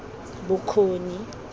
bokgoni